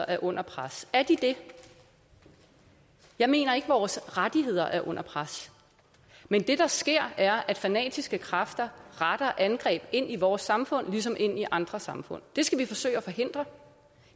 er under pres er de det jeg mener ikke at vores rettigheder er under pres men det der sker er at fanatiske kræfter retter angreb ind i vores samfund ligesom ind i andre samfund det skal vi forsøge at forhindre